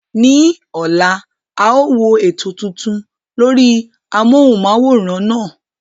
Ní ọ̀la, a ó wo ètò tuntun lórí amóhùnm'áwòrán náà